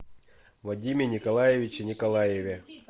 вадиме николаевиче николаеве